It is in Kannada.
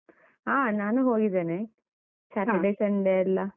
ಹ ನಾನು ಹೋಗಿದ್ದೇನೆ. Sunday ಎಲ್ಲ.